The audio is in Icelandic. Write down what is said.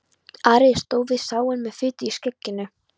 Ari stóð við sáinn með fitu í skegginu.